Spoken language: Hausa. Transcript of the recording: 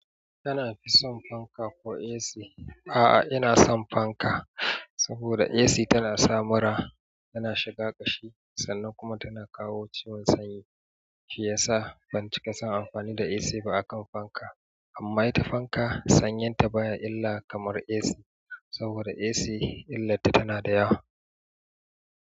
Kana fi son fanka ko AC? A'a, ina son fanka. Saboda AC tana sa mura, tana shiga ƙashi sannan kuma tana kawo ciwon sanyi. Shi yasa ban cika son amfani da AC ba akan fanka. Amma ita fanka sanyinta baya illa kamar AC. Saboda AC illarta tana da yawa.